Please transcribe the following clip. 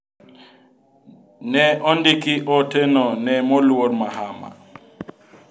Ne ondiki ote no ne moluor Mahama.